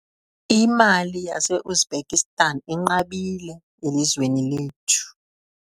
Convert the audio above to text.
Imali yaseUzbekistan inqabile elizweni lethu.